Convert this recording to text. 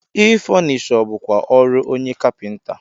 Ị fọnishọ bụkwa ọrụ onye kapịnta.